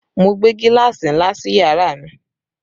Mo gbé gíláàsì ńlá sí yàrá mi